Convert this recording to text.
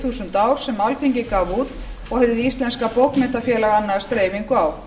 þúsund ár sem alþingi gaf út og hið íslenska bókmenntafélag annast dreifingu á